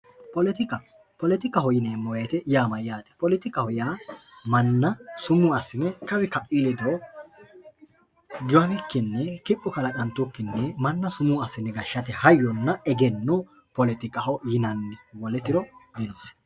poletika poletikaho yineemo woyiite yaa mayaate poletika yaa manna sumuu assine kawi ka'i ledo giwamikinni kipho kalaqantukkinni manna sumuu assine gashshate hayyonna egenno poletikaho yinanni wole tiro dinosi.